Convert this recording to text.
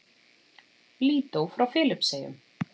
Lídó frá Filippseyjum